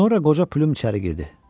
Sonra qoca Plum içəri girdi.